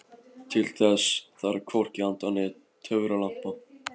Til þess þarf hvorki anda né töfralampa.